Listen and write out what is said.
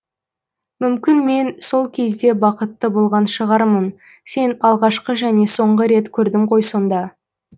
мүмкін мен сол кезде бақытты болған шығармын сен алғашқы және соңғы рет көрдім ғой сонда